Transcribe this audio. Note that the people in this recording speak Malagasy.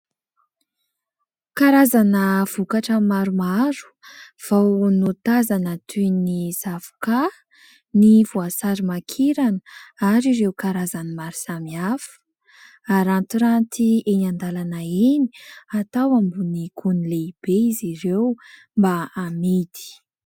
Karazana vokatra maromaro vao notazana toy : ny zavoka, ny voasary makirana ary ireo karazan'ny maro samy hafa. rarantiranty eny an-dalana eny ,atao ambonin'ny gony lehibe izy ireo mba amidy.